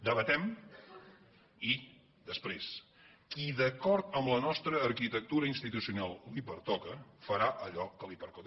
debatem i després qui d’acord amb la nostra arquitectura institucional li pertoca farà allò que li pertoca